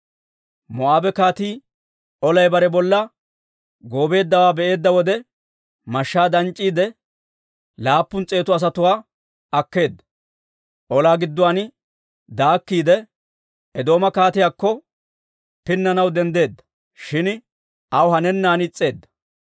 Moo'aabe kaatii olay bare bolla goobeeddawaa be'eedda wode, mashshaa danc'c'iidde laappun s'eetu asatuwaa akkeedda. Olaa gidduwaan daakkiide, Eedooma kaatiyaakko pinnanaw denddeedda; shin aw hanennan is's'eedda.